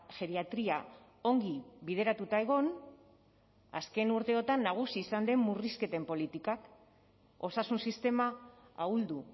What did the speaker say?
geriatria ongi bideratuta egon azken urteotan nagusi izan den murrizketen politikak osasun sistema ahuldu